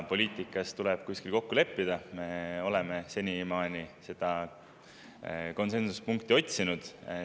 Poliitikas tuleb kuskil kokku leppida ja me oleme senimaani seda konsensuspunkti otsinud.